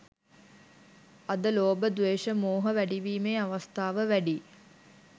අද ලෝභ ද්වේශ මෝහ වැඩිවීමේ අවස්ථාව වැඩියි.